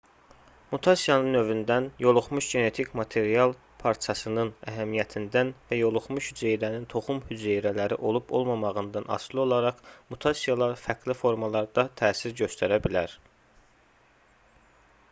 mutasiyanın növündən yoluxmuş genetik material parçasının əhəmiyyətindən və yoluxmuş hüceyrənin toxum hüceyrələri olub-olmamağından asılı olaraq mutasiyalar fərqli formalarda təsir göstərə bilər